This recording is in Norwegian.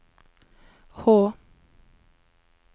H